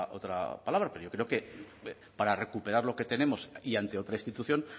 otra palabra pero yo creo que para recuperar lo que tenemos y ante otra institución